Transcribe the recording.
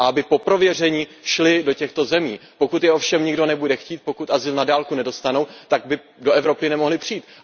A aby po prověření šli do těchto zemí. Pokud je ovšem nikdo nebude chtít, pokud azyl na dálku nedostanou, tak by do Evropy nemohli přijít.